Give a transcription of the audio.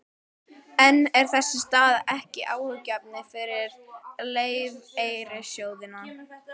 En er þessi staða ekki áhyggjuefni fyrir lífeyrissjóðina?